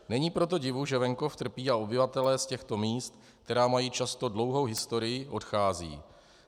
Není proto divu, že venkov trpí a obyvatelé z těchto míst, která mají často dlouhou historii, odcházejí.